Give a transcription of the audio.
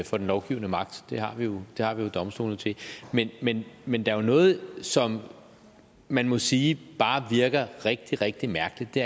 for den lovgivende magt det har vi jo domstolene til men men der er jo noget som man må sige bare virker rigtig rigtig mærkeligt i